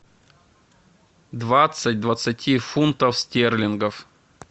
двадцать двадцати фунтов стерлингов